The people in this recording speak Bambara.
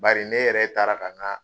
Bari ne yɛrɛ taara ka ŋaa